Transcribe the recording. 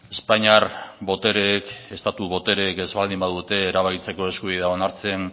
espainiar botereek estatu botereek ez baldin badute erabakitzeko eskubidea onartzen